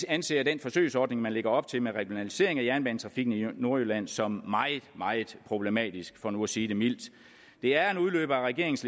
anser den forsøgsordning man lægger op til med regionalisering af jernbanetrafikken i nordjylland som meget meget problematisk for nu at sige det mildt det er en udløber af regeringens